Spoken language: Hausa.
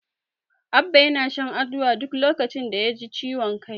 Abba yana shan Aduwa duk lokacin da yaji ciwon kai.